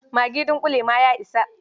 Magi dunƙule ma ya isa.